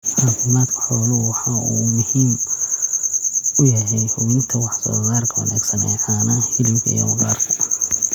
Caafimaadka xooluhu waxa uu muhiim u yahay hubinta wax soo saarka wanaagsan ee caanaha, hilibka, iyo maqaarka.